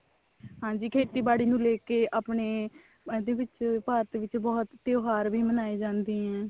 ਹਾਂਜੀ ਖੇਤੀਬਾੜੀ ਨੂੰ ਲੈਕੇ ਆਪਣੇ ਇਹਦੇ ਵਿੱਚ ਭਾਰਤ ਵਿੱਚ ਬਹੁਤ ਤਿਓਹਾਰ ਵੀ ਮਨਾਏ ਜਾਂਦੇ ਆ